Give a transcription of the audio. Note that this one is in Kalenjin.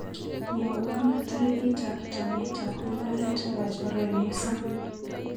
Mwawa tarikitap taunetap mung'aret nebo chorwenyu Sam.